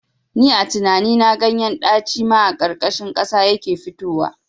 Ni a tinani na ganyen ɗaci ma a ƙarƙashin ƙasa yake fitowa